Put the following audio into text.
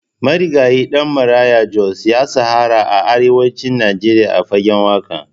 Marigayi Ɗan Maraya Jos ya shahara a arewacin Najeriya a fagen waƙa.